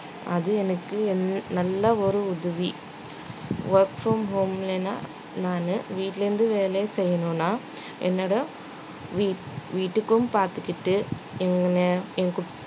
அது எனக்கு என்~ நல்ல ஒரு உதவி work from home ல நான் நானு வீட்டுல இருந்து வேலை செய்யணும்ன்னா என்னோட வீட்~ வீட்டுக்கும் பார்த்துக்கிட்டு